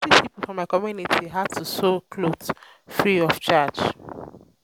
i go teach pipo for my community how to sew clothe free of charge.